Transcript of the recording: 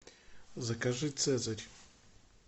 закажи цезарь